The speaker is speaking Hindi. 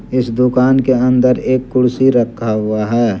इस दुकान के अंदर एक कुर्सी रखा हुआ है।